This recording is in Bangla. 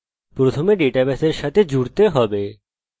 প্রথমে ডাটাবেসের সাথে জুড়তে হবে